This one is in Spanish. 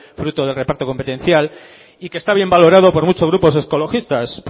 fruto del reparto competencial y que está bien valorado por muchos grupos ecologistas